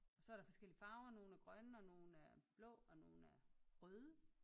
Så er der forskellige farver nogle er grønne og nogle er blå og nogle er røde